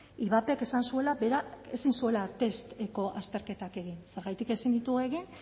ivapek esan zuela bera ezin zuela testeko azterketak egin zergatik ezin ditu egin